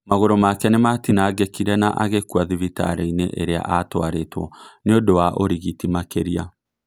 Magũrũ make nimatinangĩkirĩ na agĩkua thibitarĩinĩ ĩrĩa atuarĩtwo nĩũ ndũ was ũrigiti makĩria